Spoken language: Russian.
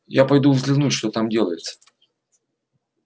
я пойду взглянуть что там делается